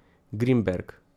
Grinberg ...